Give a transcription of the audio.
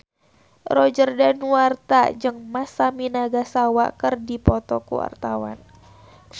Roger Danuarta jeung Masami Nagasawa keur dipoto ku wartawan